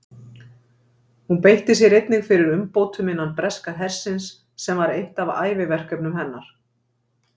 Hún beitti sér einnig fyrir umbótum innan breska hersins sem var eitt af æviverkefnum hennar.